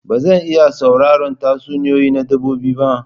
Ba zan iya sauraron tatsuniyoyi na dabbobi ba.